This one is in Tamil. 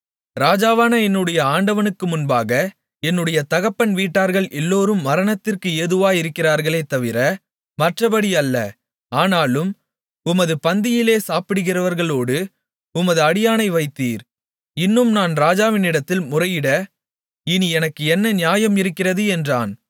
ராஜாவான என்னுடைய ஆண்டவனுக்கு முன்பாக என்னுடைய தகப்பன் வீட்டார்கள் எல்லோரும் மரணத்திற்கு ஏதுவாயிருந்தார்களே தவிர மற்றப்படி அல்ல ஆனாலும் உமது பந்தியிலே சாப்பிடுகிறவர்களோடு உமது அடியேனை வைத்தீர் இன்னும் நான் ராஜாவினிடத்தில் முறையிட இனி எனக்கு என்ன நியாயம் இருக்கிறது என்றான்